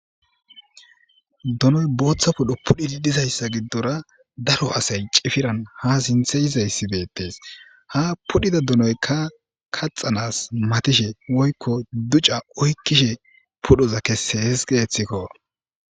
Donoy botha pudho pudhi dizaysa gidora daro asay cifiran ha sinthe yizayssi beettes ha pudhida donoyka kaxanas matishe woykko duc'a oykishe pudhoza keses getiko.